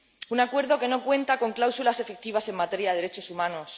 un acuerdo que no cuenta con cláusulas efectivas en materia derechos humanos